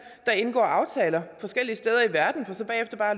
der indgår aftaler forskellige steder i verden for så bagefter bare